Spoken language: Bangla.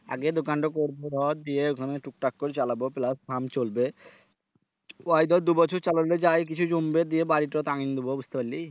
আগে দোকানটো করবো ধর দিয়ে ওখানে টুকটাক করে চালাবো plus কাম চলবে ওই ধর দু বছর চালালে যাই কিছু জমবে দিয়ে বাড়িটো বুঝতে পারলি?